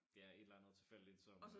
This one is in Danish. Ja et eller andet tilfældigt som øh